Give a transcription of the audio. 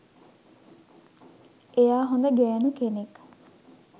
එයා හොඳ ගෑනු කෙනෙක්